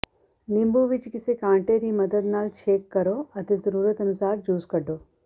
ਨਿੰਬੂ ਵਿਚ ਕਿਸੇ ਕਾਂਟੇ ਦੀ ਮਦਦ ਨਾਲ ਛੇਕ ਕਰੋ ਅਤੇ ਜ਼ਰੂਰਤ ਅਨੁਸਾਰ ਜੂਸ ਕੱਢੋ